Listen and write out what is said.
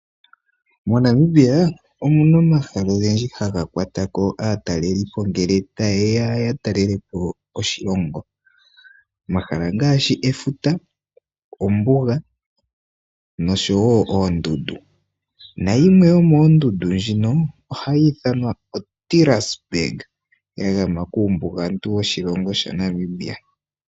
MoNamibia omu na omahala ogendji haga kwatako aatalelipo ngele ta yeya ya talelepo oshilongo omahala ongaashi efuta, ombuga noshowo oondundu nayimwe yomooondundu ndhino oha yi ithanwa oDelears Burg ya gama kuumbugantu woshilongo shaNamibia.